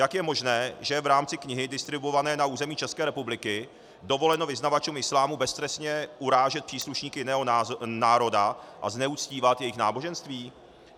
Jak je možné, že v rámci knihy distribuované na území České republiky dovoleno vyznavačům islámu beztrestně urážet příslušníky jiného národa a zneužívat jejich náboženství?